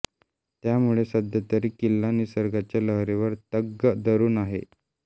त्यामुळे सध्यातरी किल्ला निसर्गाच्या लहरीवर तग धरुन आहे